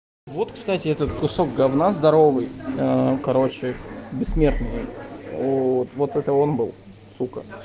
вот кстати этот кусок говна здоровый короче бессмертные вот это он был сука